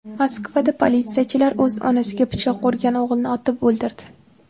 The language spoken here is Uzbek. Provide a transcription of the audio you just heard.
Moskvada politsiyachilar o‘z onasiga pichoq urgan o‘g‘ilni otib o‘ldirdi.